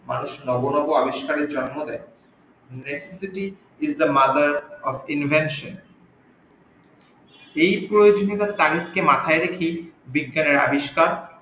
মানুষ নব নব আবিস্কারের জন্ম দেই এখন যদি its the mother of invention এই প্রয়োজনীয়তা মাথাই রেখেই বিজ্ঞানের আবিস্কার